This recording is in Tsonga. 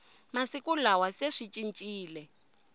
masiku lawa se swi cincile